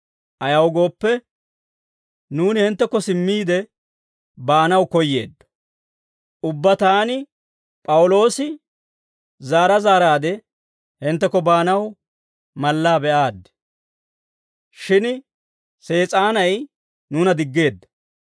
Ayaw gooppe, nuuni hinttekko simmiide baanaw koyyeeddo. Ubbaa taani P'awuloosi zaara zaaraade hinttekko baanaw mala be'aaddi; shin Sees'aanay nuuna diggeedda.